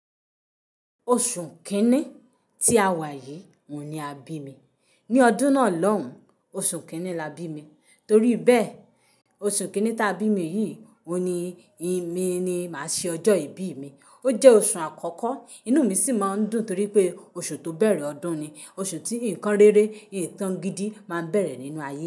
Oṣù kínní tí a wà yìí òun ni a bí mi. Ni ọdún náà lóun, oṣù kínní la bí mi. Torí bẹ́ẹ̀, oṣù kínní tá bí mi yìí òun ni mí ní màá ṣe ọjọ́ ìbí mi. Ó jẹ́ oṣù àkọ́kọ́, inú mi sì máa ń dùn torí pé oṣù tó bẹ̀rẹ̀ ọdún ni, oṣù tí nǹkan rere, ìtàn gidi máa ń bẹ̀rẹ̀ nínú ayé.